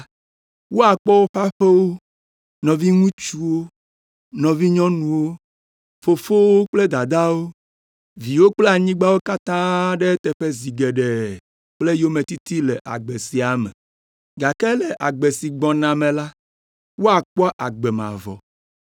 woakpɔ woƒe aƒewo, nɔviŋutsuwo, nɔvinyɔnuwo, fofowo kple dadawo, viwo kple anyigbawo katã ɖe eteƒe zi geɖe kple yometiti le agbe sia me. Gake le agbe si gbɔna me la, woakpɔ agbe mavɔ.